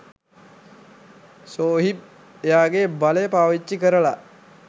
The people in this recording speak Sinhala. ෂෝහිබ් එයාගේ බලය පාවිච්චි කරලා